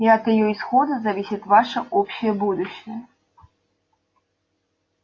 и от её исхода зависит ваше общее будущее